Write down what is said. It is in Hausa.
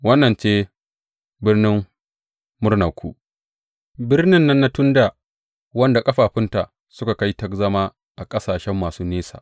Wannan ce birnin murnanku, birnin nan na tun dā wadda ƙafafunta suka kai ta zama a ƙasashe masu nesa?